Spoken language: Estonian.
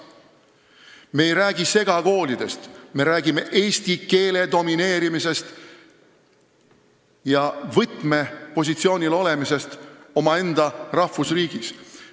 Me ei räägi segakoolidest, me räägime eesti keele domineerimisest ja võtmepositsioonil olemisest omaenda rahvusriigis.